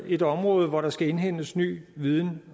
et område hvor der skal indhentes ny viden